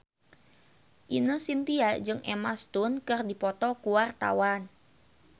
Ine Shintya jeung Emma Stone keur dipoto ku wartawan